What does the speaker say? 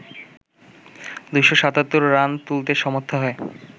২৭৭ run তুলতে সমর্থ হয়